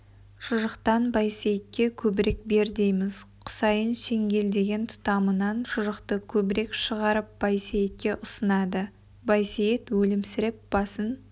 шұжықтан байсейітке көбірек бер дейміз құсайын шеңгелдеген тұтамынан шұжықты көбірек шығарып байсейітке ұсынады байсейіт өлімсіреп басын